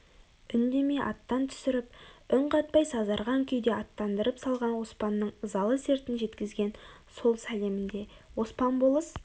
үндемей аттан түсіріп үн қатпай сазарған күйде аттандырып салған оспанның ызалы сертін жеткізген сол сәлемінде оспан болыс